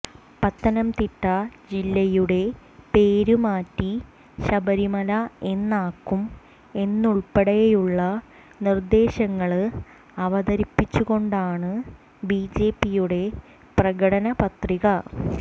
പത്തനംതിട്ട ജില്ലയുടെ പേര് മാറ്റി ശബരിമല എന്നാക്കും എന്നതുള്പ്പെടെയുള്ള നിര്ദ്ദേശങ്ങള് അവതരിപ്പിച്ചുകൊണ്ടാണ് ബിജെപിയുടെ പ്രകടനപത്രിക